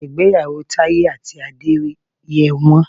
Ìgbéyàwó Taye àti Adé yẹ wọ́n.